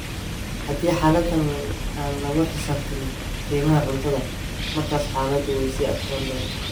Haddii xaaladdan aan lagu xisaabtamin qiimaha cuntada, markaas xaaladdu way sii adkaan doontaa.